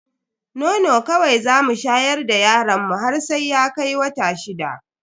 Nono kawai zamu shayar da yaron mu har sai ya kai wata shida.